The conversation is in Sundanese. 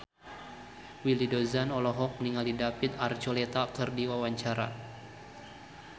Willy Dozan olohok ningali David Archuletta keur diwawancara